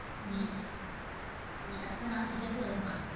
உம் உம் நான் சின்ன பொண்ணு தான்.